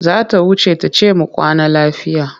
Za ta wuce ta ce mu kwana lafiya.